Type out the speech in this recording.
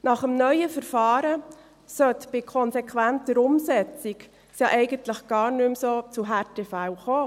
Nach dem neuen Verfahren sollte es bei konsequenter Umsetzung eigentlich gar nicht mehr zu Härtefällen kommen.